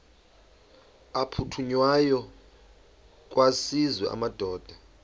aphuthunywayo kwaziswe amadoda